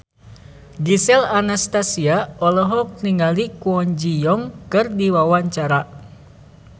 Gisel Anastasia olohok ningali Kwon Ji Yong keur diwawancara